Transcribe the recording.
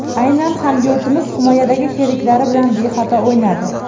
Aynan hamyurtimiz himoyadagi sheriklari bilan bexato o‘ynadi.